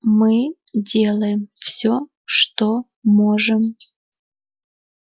мы делаем все что можем